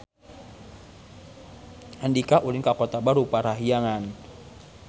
Andika ulin ka Kota Baru Parahyangan